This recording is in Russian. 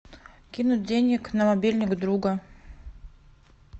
кинуть денег на мобильник друга